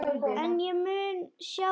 En ég mun sjá þig.